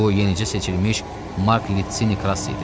Bu yenicə seçilmiş Mark Litsini Krass idi.